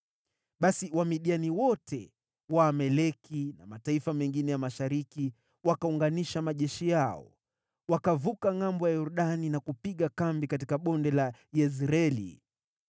Basi Wamidiani wote, Waamaleki na mataifa mengine ya mashariki wakaunganisha majeshi yao, wakavuka ngʼambo ya Yordani na kupiga kambi katika Bonde la Yezreeli.